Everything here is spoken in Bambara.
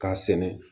K'a sɛnɛ